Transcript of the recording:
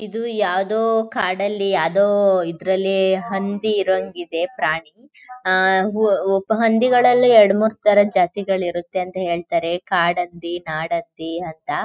ಇದು ಯಾವ್ದೋ ಕಾಡಲ್ಲಿ ಯಾವ್ದೋ ಇದ್ರಲ್ಲಿ ಹಂದಿ ಇರೋಹಂಗಿದೆ ಪ್ರಾಣಿ ಆ ಹಂದಿಗಳಲ್ಲಿ ಎರಡು ಮೂರುತರದ್ ಜಾತಿಗಳು ಇರುತ್ತೆ ಅಂತ ಹೇಳ್ತಾರೆ ಕಾಡಹಂದಿ ನಾಡಹಂದಿ ಅಂತ.